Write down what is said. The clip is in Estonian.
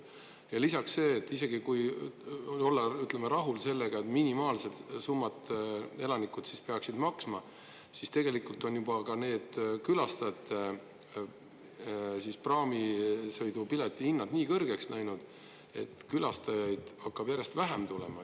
Ja lisaks see, et isegi kui olla rahul sellega, et minimaalset summat elanikud peaksid maksma, siis tegelikult on juba ka külastajate praamisõidupileti hinnad nii kõrgeks läinud, et külastajaid hakkab järjest vähem tulema.